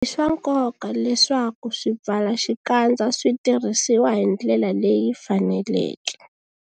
I swa nkoka leswaku swipfalaxikandza swi tirhisiwa hi ndlela leyi faneleke.